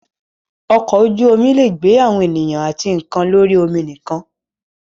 Ọkọ̀ ojú-omi lè gbé àwọn ènìyàn àti nǹkan lórí omi nìkan.